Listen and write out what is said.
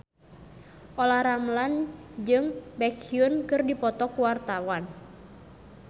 Olla Ramlan jeung Baekhyun keur dipoto ku wartawan